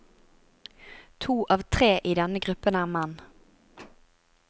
To av tre i denne gruppen er menn.